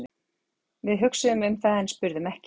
Við hugsuðum um það en spurðum ekki.